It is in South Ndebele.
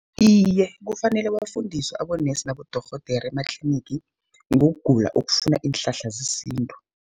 Iye, kufanele bafundiswe abonesi, nabodorhodere ematlinigi ngokugula okufuna iinhlahla zesintu.